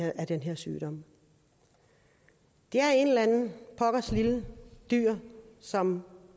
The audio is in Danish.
af den her sygdom det er et eller andet pokkers lille dyr som